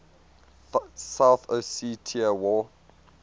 south ossetia war